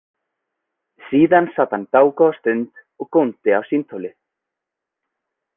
Síðan sat hann dágóða stund og góndi á símtólið.